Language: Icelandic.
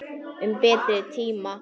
Um betri tíma.